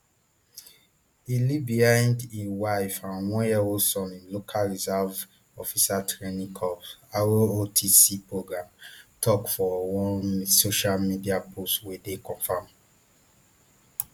e leave behind a wife and oneyearold son im local reserve officers training corps rotc program tok for one social media post wey confam